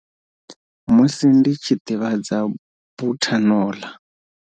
Musi ndi tshi ḓivhadza buthano ḽa.